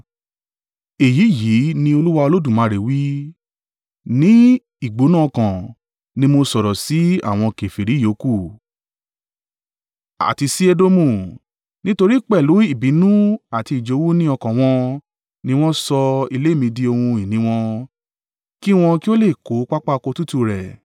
èyí yìí ni Olúwa Olódùmarè wí: Ní ìgbóná ọkàn ní mo sọ̀rọ̀ sí àwọn kèfèrí yòókù, àti sí Edomu, nítorí pẹ̀lú ìbínú àti ìjowú ní ọkàn wọn ni wọ́n sọ ilé mi di ohun ìní wọn, kí wọn kí o lè kó pápá oko tútù rẹ̀.’